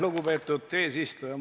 Lugupeetud eesistuja!